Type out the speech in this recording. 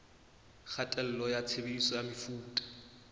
kgatello ya tshebediso ya mefuta